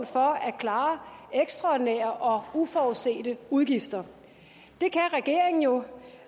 for at klare ekstraordinære og uforudsete udgifter det kan regeringen jo